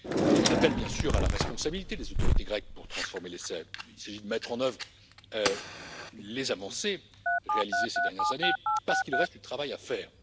J'en appelle, bien sûr, à la responsabilité des autorités grecques pour transformer l'essai. Il s'agit de mettre en œuvre les avancées réalisées ces dernières années, parce qu'il reste du travail à faire.